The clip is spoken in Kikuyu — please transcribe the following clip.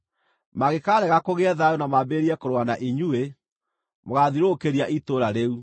Mangĩkaarega kũgĩe thayũ na mambĩrĩrie kũrũa na inyuĩ, mũgaathiũrũrũkĩria itũũra rĩu.